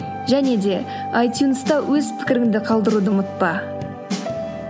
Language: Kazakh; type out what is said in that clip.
және де айтюнста өз пікіріңді қалдыруды ұмытпа